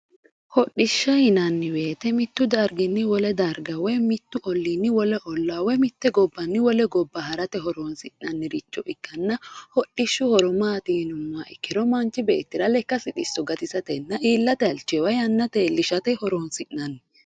hodhishsha yinanni woyte mittu darginni wole darga mittu olliinni wole olla woy mitte gobbanni wole gobba harate horoonsi'nanniricho ikkanna hodhishshu horo maati yinummoha ikkiro manchi beeti lekka xisso gatisatenna iillate halcheewowa yannate iillishshate horoonsi'nanni